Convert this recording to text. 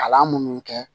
Kalan minnu kɛ